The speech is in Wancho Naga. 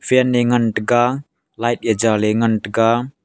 fan e ngan taiga light e chaley ngan taiga.